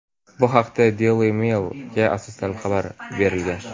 Bu haqda "Daily Mail"ga asoslanib xabar berilgan.